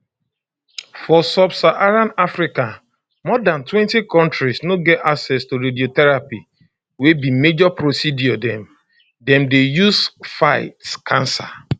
for subsaharan africa more dantwentykontris no get access to radiotherapy wey be major procedure dem dem dey use fight cancer